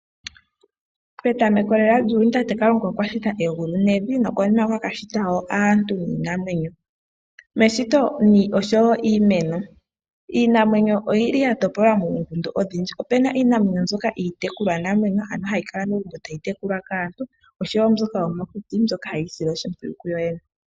Petameko lela lyuuyuni tate Kalunga okwashita egulu nevi nokonima okwa ka shita wo aantu niinamwenyo , oshowo iimeno. Iinamwenyo oyi li ya topolwa moongundu odhindji. Opuna iinamwenyo mbyoka iitekulwa namwenyo ano ha yi kala momagumbo ta yi tekulwa kaantu oshowo mbyoka yomokuti mbyoka ha yi isile oshimpwiyu yo yene.